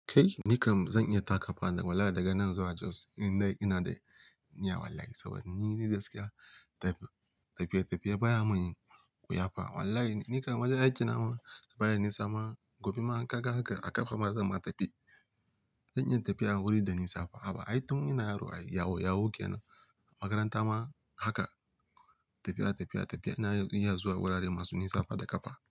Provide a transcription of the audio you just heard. Kai, ni kam zan iya taka fa wallahi daga nan zuwa Jos in dai ina da niyya wallahi saboda ni gaskiya tafiye-tafiye baya mun yi wuya fa. Wallahi ni kam wajen aikin na baya nisa ma. Gobe ma in ka ga haka a ƙafa ma zan ma tafi. Zan iya tafiya wuri da nisa fa. Haba ai tun ina yaro a yawo yawo ke nan. Makaranta ma haka tafiya tafiya tafiya ina iya zuwa wurare masu nisa fa da ƙafa.